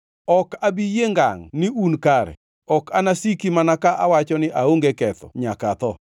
Ok abi yie ngangʼ ni un kare; ok anasiki mana ka awacho ni aonge ketho nyaka atho.